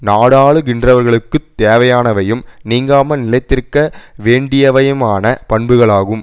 நாடாளுகின்றவர்களுக்குத் தேவையானவையும் நீங்காமல் நிலைத்திருக்க வேண்டியவையுமான பண்புகளாகும்